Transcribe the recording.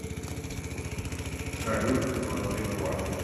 салют двадцать два